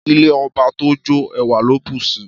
Ìlẹ́ ọbà tọ jọ, ẹwà lò busi